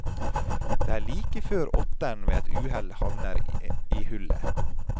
Det er like før åttern ved et uhell havner i hullet.